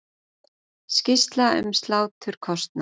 Skýrsla um sláturkostnað